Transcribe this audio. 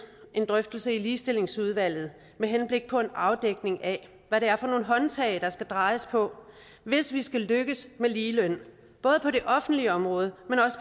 en drøftelse i ligestillingsudvalget med henblik på en afdækning af hvad det er for nogle håndtag der skal drejes på hvis vi skal lykkes med ligeløn både på det offentlige område